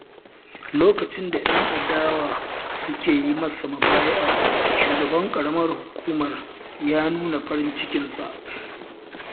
Lokacin da 'yan adawa suke yi masa mubaya'a, shugaban ƙaramar hukumar ya nuna farin cikinsa.